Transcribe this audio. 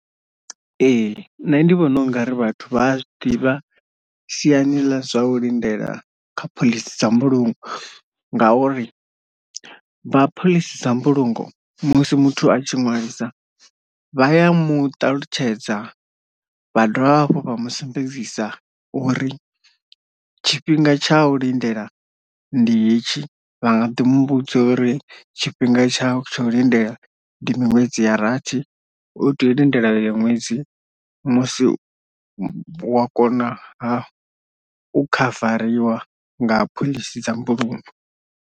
Ee nṋe ndi vhona ungari vhathu vha a zwi ḓivha siani ḽa zwa u lindela kha phoḽisi dza mbulungo ngauri vha phoḽisi dza mbulungo musi muthu a tshi ṅwalisa vha ya muṱalutshedza vha dovha hafhu vha musumbedzisa uri tshifhinga tsha u lindela ndi hetshi vha nga ḓi mu vhudza uri tshifhinga tshau tsha u lindela ndi miṅwedzi ya rathi, u tea u lindela iyo ṅwedzi musi wa konaha u khavariwa nga phoḽisi dza mbulungo.